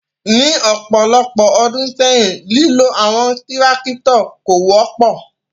Ni ọpọlọpọ ọdun sẹyin, lilo awọn tirakitọ ko wọpọ